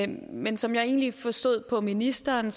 men som jeg egentlig forstod på ministeren